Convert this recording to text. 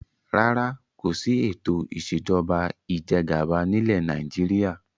Rárá, kòsi ètò ìsèjọba ìjẹgàba nilẹ Nàìjíríà